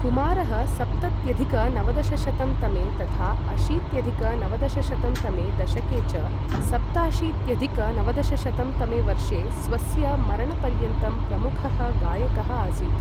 कुमारः सप्तत्यधिक नवदशशतं तमे तथा अशीत्यधिक नवदशशतं तमे दशके च सप्ताशीत्यधिक नवदशशतं तमे वर्षे स्वस्य मरणपर्यन्तं प्रमुखः गायकः आसीत्।